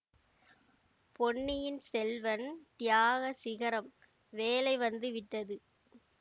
பொன்னியின் செல்வன்தியாக சிகரம்வேளை வந்து விட்டது